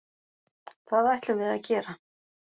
Það ætlum við að gera